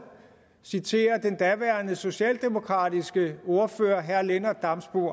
citere den daværende socialdemokratiske ordfører herre lennart damsbo